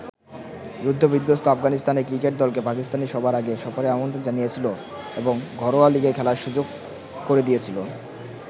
যুদ্ধ-বিধ্বস্ত আফগানিস্তানের ক্রিকেট দলকে পাকিস্তানই সবার আগে সফরের আমন্ত্রণ জানিয়েছিল এবং ঘরোয়া লীগেও খেলার সুযোগ করে দিয়েছিল।